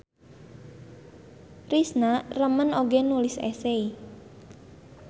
Risna remen oge nulis esei.